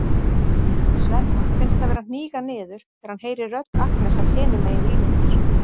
Svenna finnst hann vera að hníga niður þegar hann heyrir rödd Agnesar hinum megin línunnar.